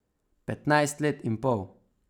Petnajst let in pol.